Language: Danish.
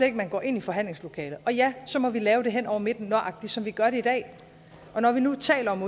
ikke man går ind i forhandlingslokalet og ja så må vi lave det hen over midten nøjagtig som vi gør det i dag når vi nu taler om